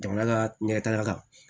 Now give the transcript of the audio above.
Jamana ka ɲɛtaga kan